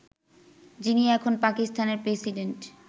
যিনি এখন পাকিস্তানের প্রেসিডেন্ট